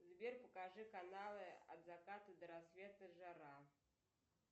сбер покажи каналы от заката до рассвета жара